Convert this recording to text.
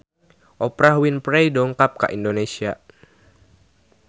Oprah Winfrey dongkap ka Indonesia